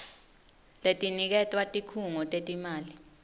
letiniketwa tikhungo tetimali